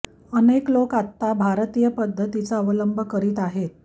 अनेक लोक आता भारतीय पद्धतीचा अवलंब करीत आहेत